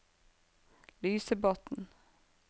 Lysebotn